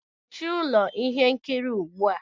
Mechie ụlọ ihe nkiri ugbu a!